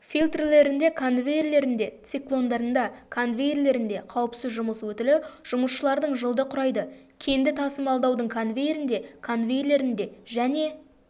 фильтрлерінде конвейерлерінде циклондарында конвейерлерінде қауіпсіз жұмыс өтілі жұмысшылардың жылды құрайды кенді тасымалдаудың конвейерінде конвейерлерінде және